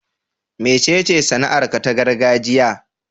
Mecece sana'arka ta gargajiya?